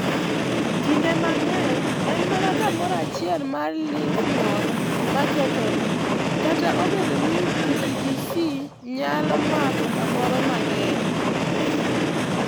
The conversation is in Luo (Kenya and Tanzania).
Kinde mang'eny, en mana kamoro achiel mar lymph node ma kethore, kata obedo ni PTGC nyalo mako kamoro mang'eny.